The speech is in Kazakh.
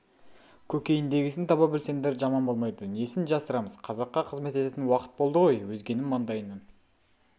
көкейіндегісін таба білсеңдер жаман болмайды несін жасырамыз қазаққа қызмет ететін уақыт болды ғой өзгенің маңдайынан